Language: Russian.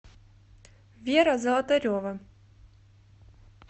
вера золотарева